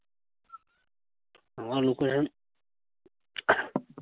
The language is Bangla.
আমার location